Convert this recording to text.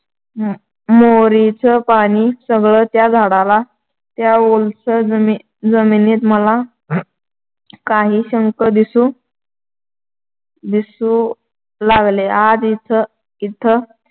मोरीचं पाणी सगळं त्या झाडाला त्या ओलसर जमिनीत मला काही शंख दिसू दिसू लागले. आज इथं